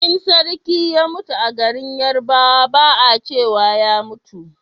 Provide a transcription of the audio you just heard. in sarki ya mutu a garin yarbawa ba a cewa ya mutu